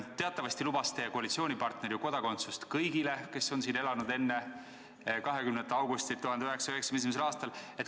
Teatavasti lubas teie koalitsioonipartner kodakondsust kõigile, kes on siin elanud enne 20. augustit 1991. aastal.